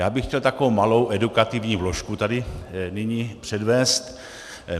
Já bych chtěl takovou malou edukativní vložku tady nyní předvést.